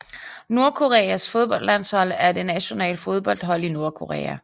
Nordkoreas fodboldlandshold er det nationale fodboldhold i Nordkorea